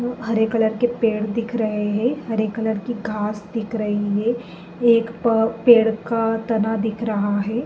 हरे colour के पेड़ दिख रहे हैं। हरे कलर की घास दिख रही है। एक प पेड़ का तना दिख रहा है।